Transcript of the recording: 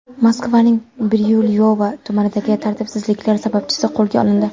Moskvaning Biryulyovo tumanidagi tartibsizliklar sababchisi qo‘lga olindi.